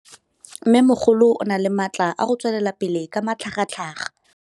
Mmêmogolo o na le matla a go tswelela pele ka matlhagatlhaga.